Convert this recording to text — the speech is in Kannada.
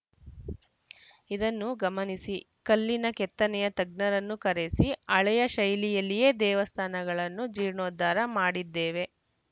ಇದನ್ನು ಗಮನಿಸಿ ಕಲ್ಲಿನ ಕೆತ್ತನೆಯ ತಜ್ಞರನ್ನು ಕರೆಸಿ ಹಳೆಯ ಶೈಲಿಯಲ್ಲಿಯೇ ದೇವಸ್ಥಾನಗಳನ್ನು ಜೀರ್ಣೋದ್ಧಾರ ಮಾಡಿದ್ದೇವೆ